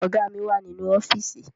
Ọ̀gá mi wà nínú ọ́fíìsì